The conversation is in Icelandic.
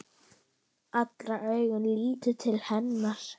Allra augu litu til hennar.